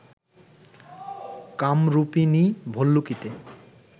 কামরূপিণী ভল্লুকীতে